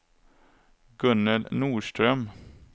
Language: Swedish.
Gunnel Norström